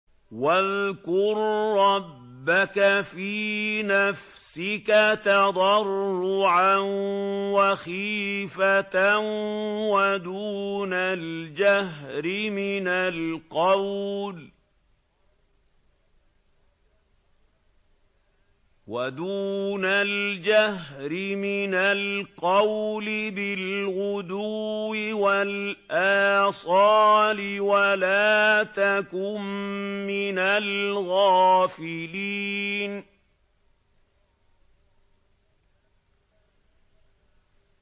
وَاذْكُر رَّبَّكَ فِي نَفْسِكَ تَضَرُّعًا وَخِيفَةً وَدُونَ الْجَهْرِ مِنَ الْقَوْلِ بِالْغُدُوِّ وَالْآصَالِ وَلَا تَكُن مِّنَ الْغَافِلِينَ